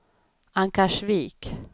Ankarsvik